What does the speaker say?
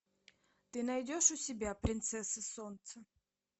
ты найдешь у себя принцесса солнца